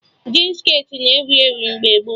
Jin skirtị na-ewu ewu mgbe gboo